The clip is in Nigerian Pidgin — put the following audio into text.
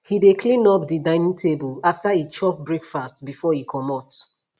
he de cleanup de dining table after e chop breakfast before e comot